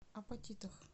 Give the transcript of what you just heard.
апатитах